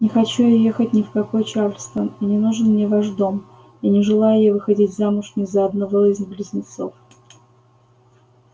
не хочу я ехать ни в какой чарльстон и не нужен мне ваш дом и не желаю я выходить замуж ни за одного из близнецов